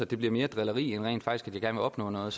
det bliver mere drilleri end rent faktisk vil opnå noget